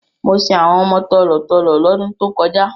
Mo sin àwọn ọmọ tòló-tòló lọ́dún tó kọjá.